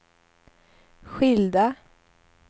skilda